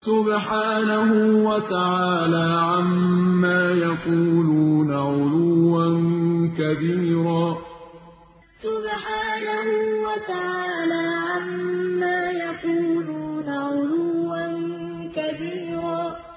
سُبْحَانَهُ وَتَعَالَىٰ عَمَّا يَقُولُونَ عُلُوًّا كَبِيرًا سُبْحَانَهُ وَتَعَالَىٰ عَمَّا يَقُولُونَ عُلُوًّا كَبِيرًا